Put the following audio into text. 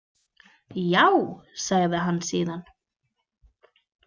Jááá, sagði hann síðan.